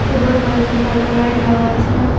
উপরে কয়েকটি সাদা লাইট লাগা আছে।